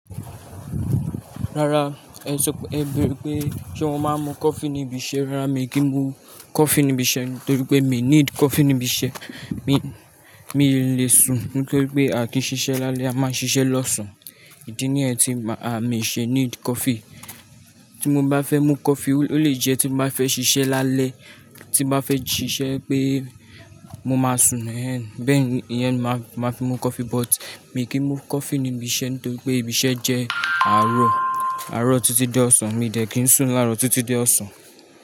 Rárá, ẹ sọ pé ẹ bẹere pé se mo máa mú coffee níbi iṣẹ́. Rárá, mi kì í mú coffee níbi iṣẹ́ nítorí pé mi need coffee níbi iṣẹ́. Mi, mi lè sùn nítorí pé a kì í ṣiṣẹ́ lálẹ́, a máa ṣiṣẹ́ lọ́sàn-án. Idí niyẹ́n ti ma-- àmi ṣe need coffee. Tí mo bá fẹ́ mú coffee, ó lè jẹ́ tí mo bá fẹ́ ṣiṣẹ́ lálẹ́, tí bá fẹ́ ṣiṣẹ́ pé mo máa sùn. Ẹ̀hẹ̀n, bẹ́ẹ̀ ni, ìyẹn ni màá fi mú coffee. But mi kì í mú coffee níbi iṣẹ́ nítorí pé ibi iṣẹ́ jẹ́ àárọ̀, àárọ̀ títí di ọ̀sán. Mi dẹ̀ kì í sùn láàárọ̀ títí di ọ̀sán.